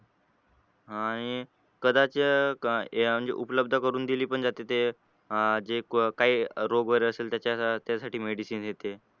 अह आणि कदाचित हे म्हणजे अं उपलब्ध करून दिली पण जाते तर अं जे काही रोग वगैरे असेल तर त्यासाठी medicine येते